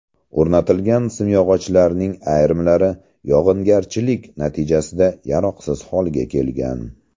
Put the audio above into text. O‘rnatilgan simyog‘ochlarning ayrimlari yog‘ingarchilik natijasida yaroqsiz holga kelgan.